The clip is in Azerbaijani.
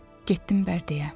Getdim Bərdəyə.